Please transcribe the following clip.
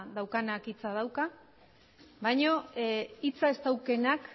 daukanak hitza dauka baina hitza ez daukanak